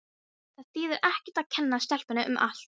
Það þýðir ekkert að kenna stelpunni um allt.